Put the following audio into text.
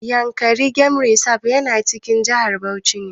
Yankari game reserve yana cikin jihar Bauchi ne.